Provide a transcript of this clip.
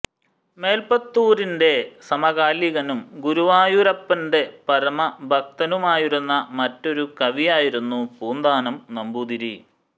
മേല്പുത്തൂരിന്റെ സമകാലികനും ഗുരുവായൂരപ്പന്റെ പരമഭക്തനുമായിരുന്ന മറ്റൊരു കവിയായിരുന്നു പൂന്താനം നമ്പൂതിരി